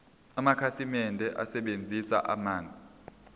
amakhasimende asebenzisa amanzi